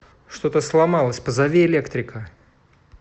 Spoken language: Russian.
что то сломалось позови электрика